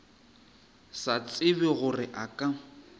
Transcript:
sa tsebe gore a ka